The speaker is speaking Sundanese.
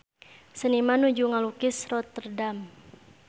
Seniman nuju ngalukis Rotterdam